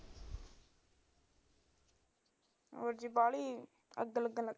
ਹੋਰ ਜੀ ਬਾਹਲੀ ਅੱਗ ਲੱਗਣ ਲੱਗ ਜਾਂਦੀ